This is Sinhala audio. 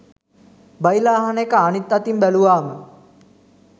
බයිලා අහන එක අනිත් අතින් බැළුවාම